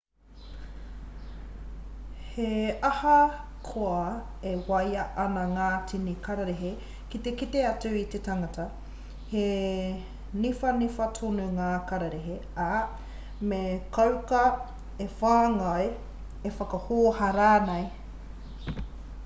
he ahakoa e waia ana ngā tini kararehe ki te kite atu i te tangata he niwhaniwha tonu ngā karerehe ā me kauaka e whāngai e whakahōhā rānei